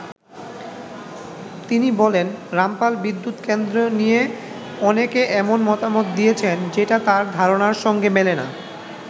তিনি বলেন, রামপাল বিদ্যুৎ কেন্দ্র নিয়ে অনেকে এমন মতামত দিয়েছেন যেটা তার ধারণার সঙ্গে মেলে না।